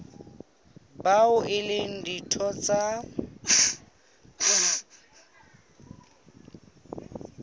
bao e leng ditho tsa